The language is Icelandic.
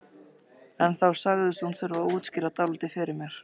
En þá sagðist hún þurfa að útskýra dálítið fyrir mér.